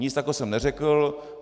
Nic takového jsem neřekl.